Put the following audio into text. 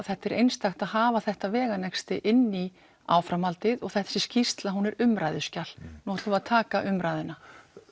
þetta er einstakt að hafa þetta veganesti inn í áframhaldið og þessi skýrsla sé umræðuskjal nú ætlum við að taka umræðuna